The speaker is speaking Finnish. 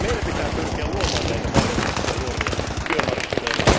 Meidän pitää pyrkiä luomaan näitä mahdollisuuksia nuorille työmarkkinoilla.